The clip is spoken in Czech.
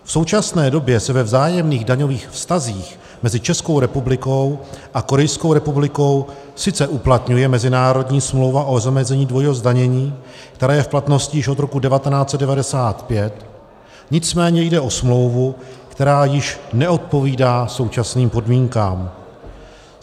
V současné době se ve vzájemných daňových vztazích mezi Českou republikou a Korejskou republikou sice uplatňuje mezinárodní smlouva o zamezení dvojího zdanění, která je v platnosti již od roku 1995, nicméně jde o smlouvu, která již neodpovídá současným podmínkám.